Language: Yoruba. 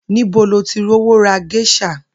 Níbo lo ti rówó ra ges̩à?